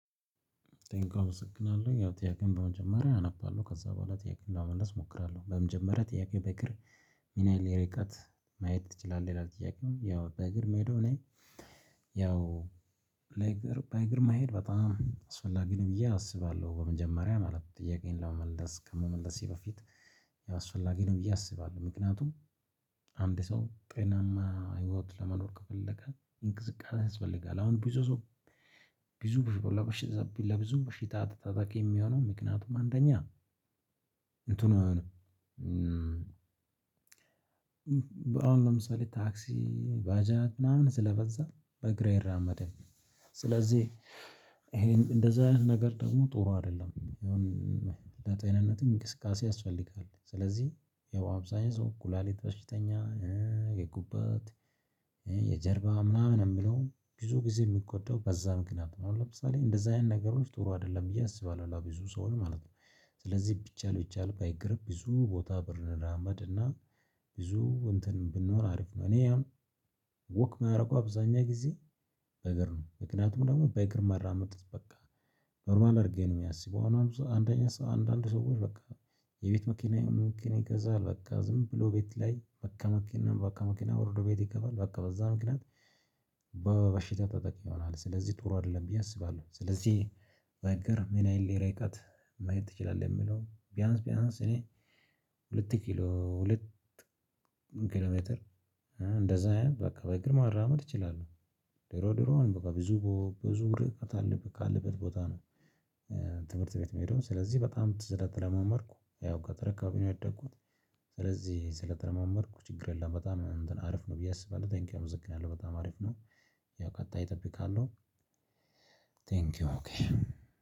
ለጥያቄው አመሰግናለው ያው ጥያቄውን በመጀመሪያ አነባለሁ ከዛ በኋላ ጥያቄውን ለመመለስ እሞክራለሁ በመጀመሪያ ጥያቄ በእግር ምን ያህል ርቀት መሄድት ችላለህ? ይላል ጥያቄው ያው በእግር ምሄደው እኔ ያው በእግር በእግር መሄድ በጣም አስፈላጊ ነው ብዬ አስባለሁ በመጀመሪያ ማለት ጥያቄዬን ለመመለስ ከመመለሴ በፊት አስፈላጊ ነው ብዬ አስባለሁ። ምክንያቱም አንድ ሰው ጤናማ ህይወት ለመኖር ከፈለገ እንቅስቃሴ ያስፈልጋል። አሁን ብዙ ሰው ብዙ ብዙ ለብዙ በሽታ ተጠቂ ሚሆነው ምክንያቱም አንደኛ እንትኑ አሁን ለምሳሌ ታክሲ ባጃጅ ምናምን ስለበዛ በእግር አይራመድም። ስለዚህ ይሄን እንደዚህ አይነት ነገር ደግሞ ጥሩ አይደለም የሆነ ለጤንነትም እንቅስቃሴ ያስፈልጋል። ስለዚህ ያው አብዛኛው ሰው ኩላሊት በሽተኛ የጉበት የጀርባ ምናምን የሚለው ብዙ ጊዜ ሚጎዳው በዛ ምክንያት ነው። አሁን ለምሳሌ እንደዚህ አይነት ነገሮች ጥሩ አይደለም ብዬ አስባለሁ። ለብዙ ሰው ማለት ነው። ስለዚህ ቢቻል ቢቻል በ እግር ብዙ ቦታ ብንራመድ እና ብዙ እንትን ብንሆን አሪፍ ነው። እኔ አሁን ወክ ማረገው አብዛኛው ጊዜ በ እግር ነው ምክንያቱም ደግሞ በ እግርር መራመድ በቃ ኖርማል አድርጌ ነው ማስበው። አሁን አንደኛ ሰው አንዳንድ ሰዎች በቃ የቤት መኪና መኪና ይገዛል በቃ ዝም ብሎ ቤት ላይ በቃ መኪና በቃ መኪና ወርዶ ቤት ይገባል በቃ በዛ ምክንያት በበሽታ ተጠቂ ይሆናል ስለዚህ ጥሩ አይደለም ብዬ አስባለሁ። ስለዚህ በ እግር ምን ያህል ርቀት መሄድ ትችላለህ? የሚለው ቢያንስ ቢያንስ እኔ ሁለት ኪሎ ሁለት ኪሎ ሜትር እንደዛ ያህል በቃ በ እግር መራመድ እችላለሁ። ድሮ ድሮ በቃ ብዙ ብዙ ርቀት አለበት ካለበት ቦታ ነው። ትምህርት ቤት ምሄደው ስለዚህ በጣም ስለተረማመድኩ ያው ገጠር አከባቢ ነው ያደግኩት። ስለዚህ ስለተለማመድኩ ችግር የለም በጣም እንትን አሪፍ ነው ብዬ አስባለሁ። ቴንኪው አመሰግናለሁ በጣም አሪፍ ነው። ያው ቀጣይ እጠብቃለሁ። ቴንኪው